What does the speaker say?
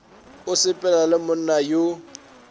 o sepela le monna yo